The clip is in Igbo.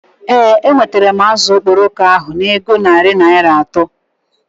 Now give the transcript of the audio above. Ee, enwetara m azụ okporoko ahu ego na narị Naịra atọ